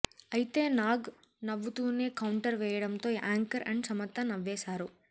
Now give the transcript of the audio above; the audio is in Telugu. అయితే నాగ్ నవ్వుతూనే కౌంటర్ వేయడంతో యాంకర్ అండ్ సమంత నవ్వేశారు